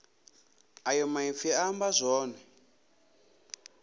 ayo maipfi a amba zwone